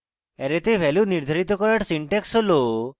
array the value নির্ধারিত করার syntax হল